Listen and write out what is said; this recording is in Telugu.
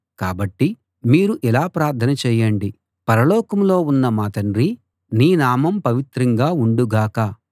కాబట్టి మీరు ఇలా ప్రార్థన చేయండి పరలోకంలో ఉన్న మా తండ్రీ నీ నామం పవిత్రంగా ఉండు గాక